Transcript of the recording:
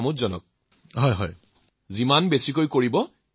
হয় মহোদয় গালিও পাৰে